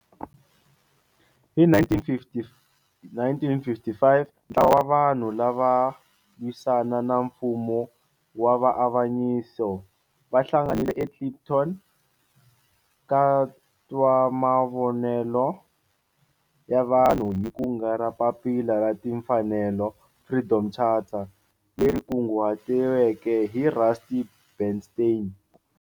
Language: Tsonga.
Hi 1955 ntlawa wa vanhu lava lwisana na nfumo wa avanyiso va hlanganile eKliptown ka twa mavonelo ya vanhu hi kungu ra Papila ra Timfanelo, Freedom Charter, leri kunguhatiweke hi Rusty Bernstein.